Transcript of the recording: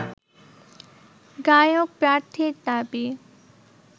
গায়ক প্রার্থীর দাবি